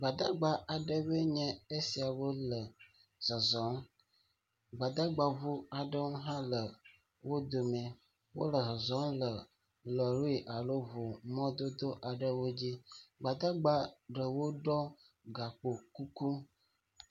Gbadagba aɖewoe nye esiawo le zɔzɔm. gbadagba ŋu aɖewo hã le wodo mi. Wole zɔzɔm le lɔri alo ŋu mɔdodo aɖewo dzi. Gbadagba ɖewo ɖɔ gakpo kuku.